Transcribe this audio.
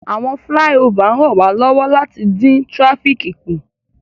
Awọn filaiofa n ranwalọwọ lati din tirafíki ku